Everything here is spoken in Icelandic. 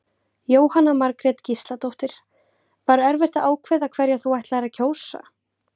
Jóhanna Margrét Gísladóttir: Var erfitt að ákveða hverja þú ætlaðir að kjósa?